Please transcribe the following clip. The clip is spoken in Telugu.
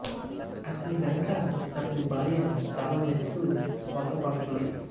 అతని వెనక అతని భార్య తాళం వేస్తూ వంత పాడుతుంది